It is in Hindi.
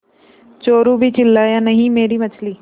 चोरु भी चिल्लाया नहींमेरी मछली